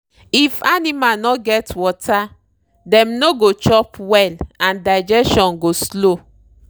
if animal no get water dem no go chop well and digestion go slow.